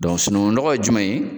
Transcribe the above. sununkunnɔgɔ ye jumɛn ye?